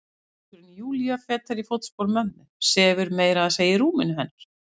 Góða dóttirin Júlía, fetar í fótspor mömmu, sefur meira að segja í rúminu hennar.